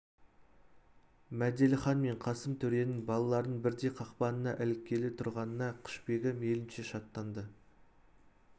мәделіхан мен қасым төренің балаларының бірдей қақпанына іліккелі тұрғанына құшбегі мейлінше шаттанды